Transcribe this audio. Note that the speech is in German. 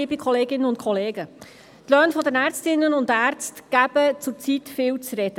Die Löhne der Ärztinnen und Ärzte geben zurzeit viel zu reden.